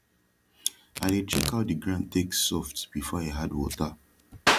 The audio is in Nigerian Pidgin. i dey check how de ground take soft befor i add wata